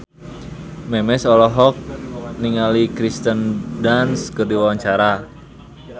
Memes olohok ningali Kirsten Dunst keur diwawancara